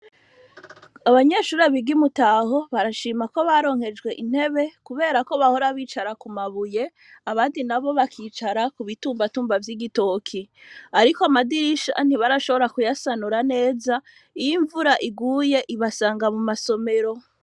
Abanyeshure biga i Mutaho barashima ko baronkejwe intebe, kubera ko bahora bicara ku mabuye abandi n'abo bakicara ku bitumbatumba vy'igitoki. Ariko amadirisha ntibarashobora kuyasanura neza ,iyo imvura iguye ibasanga mu masomero.